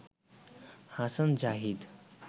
Hasan Zahid